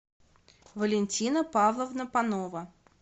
валентина павловна панова